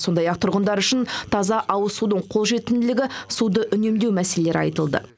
сондай ақ тұрғындар үшін таза ауызсудың қолжетімділігі суды үнемдеу мәселелері айтылды